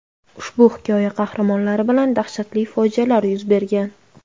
Ushbu hikoya qahramonlari bilan dahshatli fojialar yuz bergan.